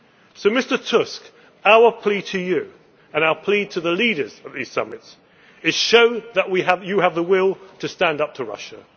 So, Mr Tusk, our plea to you and our plea to the leaders of these summits is show that you have the will to stand up to Russia